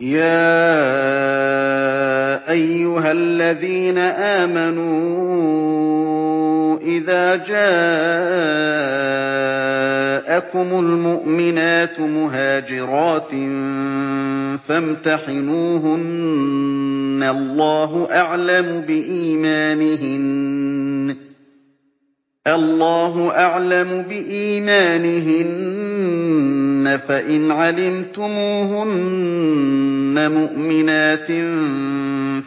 يَا أَيُّهَا الَّذِينَ آمَنُوا إِذَا جَاءَكُمُ الْمُؤْمِنَاتُ مُهَاجِرَاتٍ فَامْتَحِنُوهُنَّ ۖ اللَّهُ أَعْلَمُ بِإِيمَانِهِنَّ ۖ فَإِنْ عَلِمْتُمُوهُنَّ مُؤْمِنَاتٍ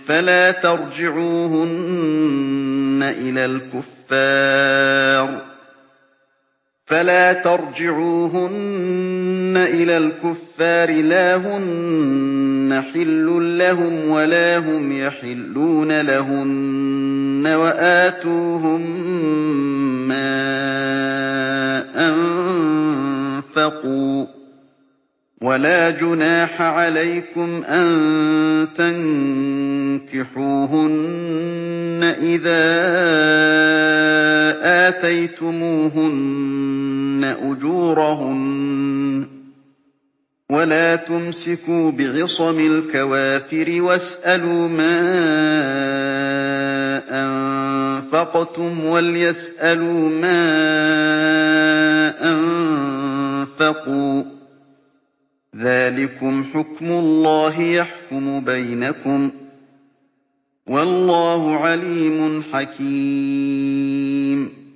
فَلَا تَرْجِعُوهُنَّ إِلَى الْكُفَّارِ ۖ لَا هُنَّ حِلٌّ لَّهُمْ وَلَا هُمْ يَحِلُّونَ لَهُنَّ ۖ وَآتُوهُم مَّا أَنفَقُوا ۚ وَلَا جُنَاحَ عَلَيْكُمْ أَن تَنكِحُوهُنَّ إِذَا آتَيْتُمُوهُنَّ أُجُورَهُنَّ ۚ وَلَا تُمْسِكُوا بِعِصَمِ الْكَوَافِرِ وَاسْأَلُوا مَا أَنفَقْتُمْ وَلْيَسْأَلُوا مَا أَنفَقُوا ۚ ذَٰلِكُمْ حُكْمُ اللَّهِ ۖ يَحْكُمُ بَيْنَكُمْ ۚ وَاللَّهُ عَلِيمٌ حَكِيمٌ